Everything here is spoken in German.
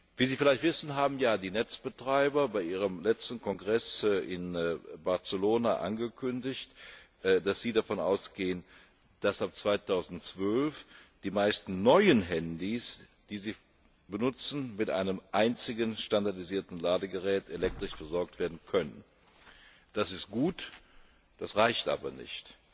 Wie Sie vielleicht wissen, haben ja die Netzbetreiber bei ihrem letzten Kongress in Barcelona angekündigt, dass sie davon ausgehen, dass ab 2012 die meisten neuen Handys, die sie vertreiben, mit einem einzigen, standardisierten Ladegerät elektrisch versorgt werden können. Das ist gut, reicht aber nicht!